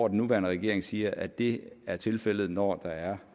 nuværende regering siger at det er tilfældet når der er